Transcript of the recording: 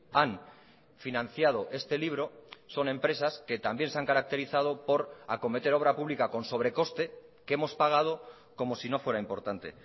han financiado este libro son empresas que también se han caracterizado por acometer obra pública con sobrecoste que hemos pagado como si no fuera importante